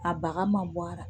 A baga ma bɔ a la